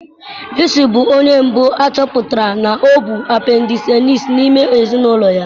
Luci bụ onye mbụ a chọpụtara na ọ bụ apendisaịtịs n'ime ezinụlọ ya